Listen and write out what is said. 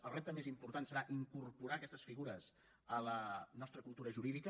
el repte més important serà incorporar aquestes figures a la nostra cultura jurídica